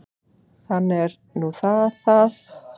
Þannig er nú það það.